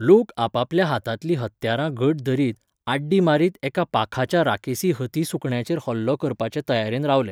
लोक आपापल्या हातांतलीं हत्यारां घट धरीत, आड्डी मारीत एका पाखाच्या राकेसी हती सुकण्याचेर हल्लो करपाचे तयारेन रावले.